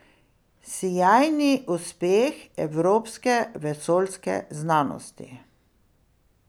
Sijajni uspeh evropske vesoljske znanosti.